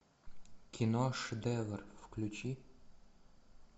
кино шедевр включи